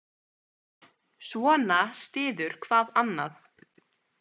Svona styður hvað annað.